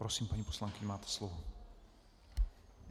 Prosím, paní poslankyně, máte slovo.